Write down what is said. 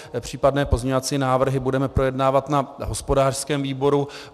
Případné pozměňovací návrhy budeme projednávat na hospodářském výboru.